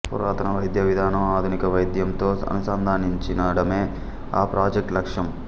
పురాతన వైద్యవిధానం ఆధునిక వైద్యంతో అనుసంధానించడమే ఆ ప్రాజెక్ట్ లక్ష్యం